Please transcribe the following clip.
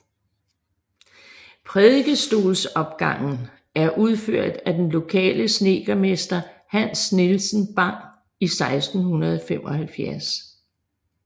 Prædikestolsopgangen er udført af den lokale snedkermester Hans Nielsen Bang i 1675